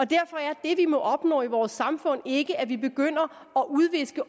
derfor er det vi må opnå i vores samfund ikke at vi begynder at udviske